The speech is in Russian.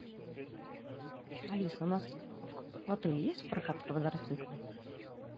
алиса у нас в отеле есть прокат квадроциклов